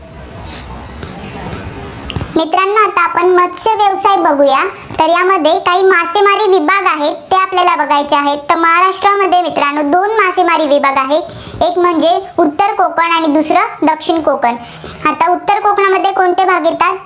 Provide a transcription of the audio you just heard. तर बघुया. तर यामध्ये काही मासेमारी विभाग आहेत, ते आपल्याला बघायचे आहेत, तर महाराष्ट्रामध्ये मित्रांनो दोन मासेमारी विभाग आहेत. एक म्हणजे उत्तर कोकण आणि दुसरं दक्षिण कोकण. आता उत्तर कोकणामध्ये कोणते भाग येतात?